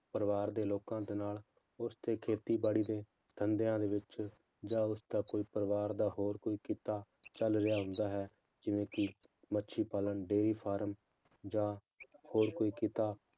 ਪਰਿਵਾਰ ਦੇ ਲੋਕਾਂ ਦੇ ਨਾਲ ਉਸ ਤੇ ਖੇਤੀਬਾੜੀ ਦੇ ਧੰਦਿਆਂ ਦੇ ਵਿੱਚ ਜਾਂ ਉਸਦਾ ਕੋਈ ਪਰਿਵਾਰ ਦਾ ਹੋਰ ਕੋਈ ਕਿੱਤਾ ਚੱਲ ਰਿਹਾ ਹੁੰਦਾ ਹੈ ਜਿਵੇਂ ਕਿ ਮੱਛੀ ਪਾਲਣ dairy farm ਜਾਂ ਹੋਰ ਕੋਈ ਕਿੱਤਾ